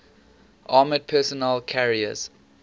armored personnel carriers